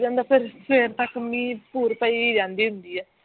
ਫਿਰ ਸਵੇਰ ਟੱਕਰ ਮੀਹ ਥੁੜ ਪਈ ਜਾਂਦੀ ਹੁੰਦੀ ਹੈ